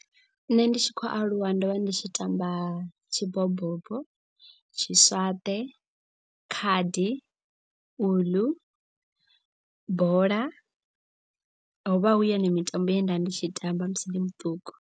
Nṋe ndi tshi khou aluwa ndo vha ndi tshi tamba tshi bobobo, tshi swaṱe, khadi, uḽu, bola. Hovha hu yone mitambo ye nda ndi tshi tamba musi ndi muṱuku.